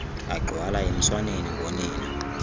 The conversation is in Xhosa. agxwala emswaneni ngonina